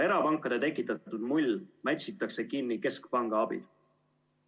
Erapankade tekitatud mull mätsitakse kinni keskpanga abil.